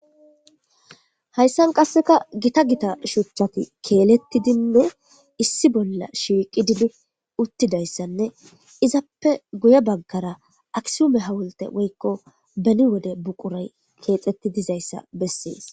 Hayssan qassikka githa githa shuchchathi keelethidinne issi bolla shiiqidi uththizayssanne ithappe guye baggara aksuume hawulthe woykko beni wode buquray keexeththidizayssa bessees.